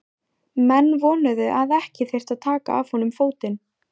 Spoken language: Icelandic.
Menn vonuðu að ekki þyrfti að taka af honum fótinn.